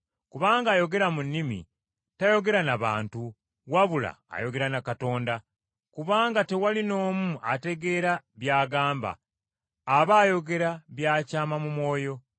Kubanga ayogera mu nnimi tayogera n’abantu, wabula ayogera na Katonda. Kubanga tewali n’omu ategeera by’agamba. Aba ayogera bya kyama mu Mwoyo.